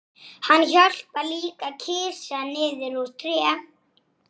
Gengu menn til dóma þar.